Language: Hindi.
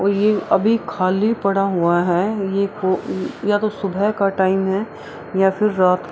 और ये अभी खली पड़ा हुआ है ये वो या तो सुबह का टाइम है या फिर रात।